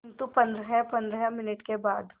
किंतु पंद्रहपंद्रह मिनट के बाद